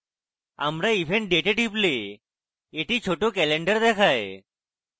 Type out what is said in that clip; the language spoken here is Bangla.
আমরা event date a টিপলে একটি ছোট calendar দেখায়